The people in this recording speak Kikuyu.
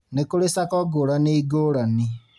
Nĩ kũrĩ SACCO ngũrani ngũrani